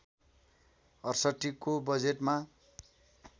६८ को बजेटमा